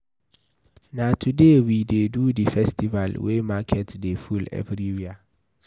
Na today we dey do the festival wey market dey full everywhere.